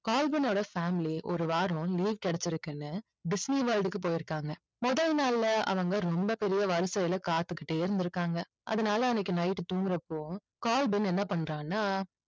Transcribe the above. Calvin ஓட family ஒரு வாரம் leave கிடைச்சிருக்குன்னு disney world க்கு போயிருக்காங்க. முதல் நாள்ல அவங்க ரொம்ப பெரிய வரிசையில காத்துக்கிட்டே இருந்திருக்காங்க. அதனால அன்னைக்கு night தூங்குறப்போ கால்வின் என்ன பண்றான்னா